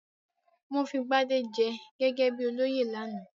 Wọ́n fi Gbadé jẹ gẹ́gẹ́ bí olóyè lánàá?